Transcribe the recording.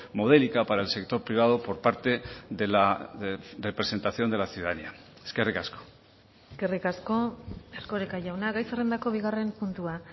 modélica para el sector privado por parte de la representación de la ciudadanía eskerrik asko eskerrik asko erkoreka jauna gai zerrendako bigarren puntua